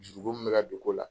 Juru ko min bɛ ka don ko la.